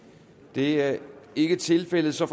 det er ikke tilfældet så